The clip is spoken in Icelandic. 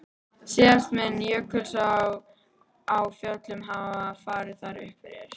Síðast mun Jökulsá á Fjöllum hafa farið þar um fyrir